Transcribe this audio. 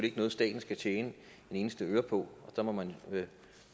ikke noget staten skal tjene en eneste øre på og så må man